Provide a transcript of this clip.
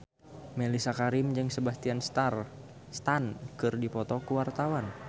Mellisa Karim jeung Sebastian Stan keur dipoto ku wartawan